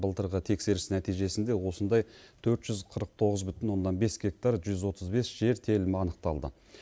былтырғы тексеріс нәтижесінде осындай төрт жүз қырық тоғыз бүтін оннан бес гектар жүз отыз бес жер телімі анықталды